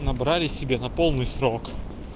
набрали себе на полный срок